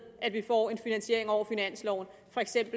at vi får en finansiering over finansloven